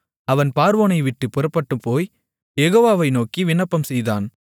அவன் பார்வோனைவிட்டுப் புறப்பட்டுப்போய் யெகோவாவை நோக்கி விண்ணப்பம்செய்தான்